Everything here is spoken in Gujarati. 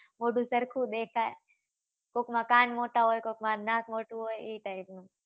મોઢું ચરખું દેખાય કોક માં કાન મોટું હોય કોક માં નાક મોટું હોય એ type નું